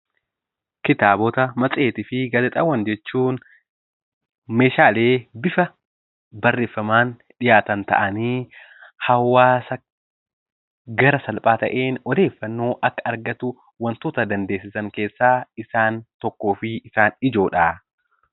Kitaabota matseetii fi gaazexaawwan jechuun Meeshaalee bifa barreeffamaan dhihaatan ta'ee hawaasa bifa salphaa ta'een, odeeffannoo akka argatan dandeessisu keessa isa tokkoo fi isa ijoodha.